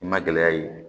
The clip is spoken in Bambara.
I ma gɛlɛya ye